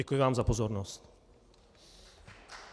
Děkuji vám za pozornost.